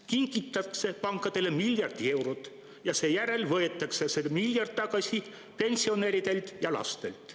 Kingitakse pankadele miljard eurot ja seejärel võetakse see miljard tagasi pensionäridelt ja lastelt.